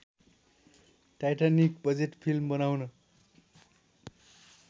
Titanic budget film बनाउन